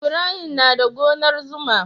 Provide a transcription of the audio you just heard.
Ibrahim na da gonar zuma.